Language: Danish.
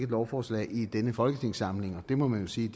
lovforslag i denne folketingssamling og det må man jo sige